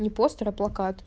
не постер а плакат